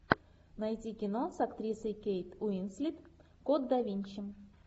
найти кино с актрисой кейт уинслет код да винчи